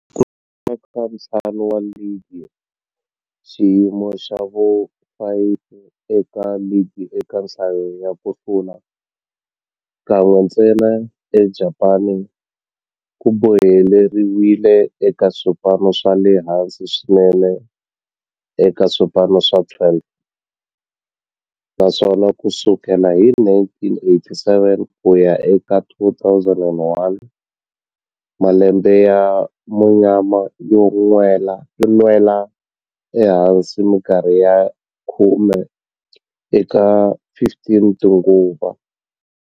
Ku hlula ka ntlhanu wa ligi, xiyimo xa vu-5 eka ligi eka nhlayo ya ku hlula, kan'we ntsena eJapani, ku boheleriwile eka swipano swa le hansi swinene eka swipano swa 12, naswona ku sukela hi 1987 ku ya eka 2001, malembe ya munyama yo nwela ehansi minkarhi ya khume eka 15 tinguva.